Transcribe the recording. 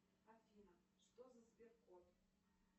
афина что за сбер код